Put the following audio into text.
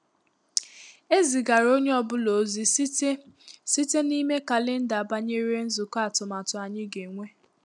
E zigara onye ọ bụla ozi site site n’ime kalenda banyere nzukọ atụmatụ ànyị ga-enwe.